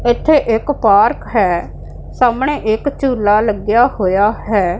ਇੱਥੇ ਇੱਕ ਪਾਰਕ ਹੈ ਸਾਹਮਣੇ ਇੱਕ ਝੂਲ੍ਹਾਂ ਲੱਗਿਆ ਹੋਇਆ ਹੈ।